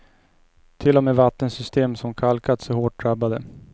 Till och med vattensystem som kalkats är hårt drabbade.